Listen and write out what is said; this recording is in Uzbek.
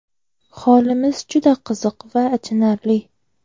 Holimiz juda qiziq va achinarli.